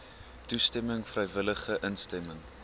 toestemming vrywillige instemming